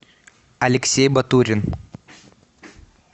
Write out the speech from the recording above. алексей батурин